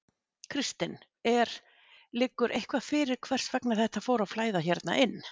Kristinn: Er, liggur eitthvað fyrir hvers vegna þetta fór að flæða hérna inn?